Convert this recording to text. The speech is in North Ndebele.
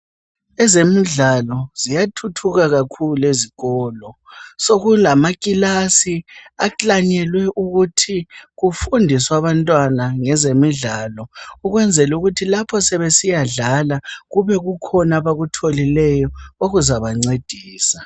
Ezemidlalo, ziyathuthuka kakhulu ezikolo. Sokulamakilasi aklanyelwe ukuthi, kufundiswe abantwana ngezemidlalo. Ukwenzela ukuthi lapho, sebesiyadlala, kubekukhona abakutholileyo. Okuzabancedisa..